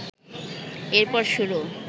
এরপর শুরু